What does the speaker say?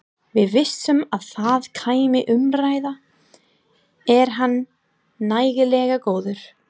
Við vissum að það kæmi umræða- er hann nægilega góður?